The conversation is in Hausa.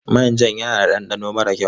Manjan yana da ɗanɗano mara kyau.